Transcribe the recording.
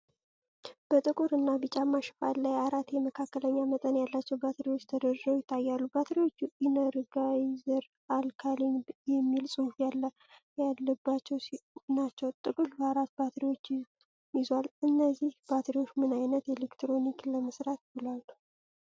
በጥቁር እና ቢጫማ ሽፋን ላይ አራት የ መካከለኛ መጠን ያላቸው ባትሪዎች ተደርድረው ይታያሉ። ባትሪዎቹ "ኢነርጋይዘር አልካሊን" የሚል ጽሑፍ ያለባቸው ናቸው። ጥቅሉ አራት ባትሪዎችን ይዟል። እነዚህ ባትሪዎች ምን ዓይነት ኤሌክትሮኒክስ ለመስራት ይውላሉ?